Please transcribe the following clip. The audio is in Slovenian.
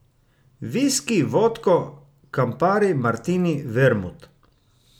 Viski, vodko, kampari, martini, vermut?